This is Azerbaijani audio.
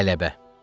Qələbə.